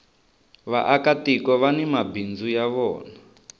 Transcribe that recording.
vaaka tiko vani mabindzu ya vona